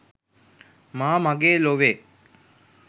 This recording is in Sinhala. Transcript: මා මගේ ලොවේ